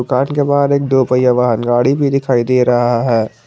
दुकान के बाहर एक दो पहिया बाहर गाड़ी भी दिखाई दे रहा है।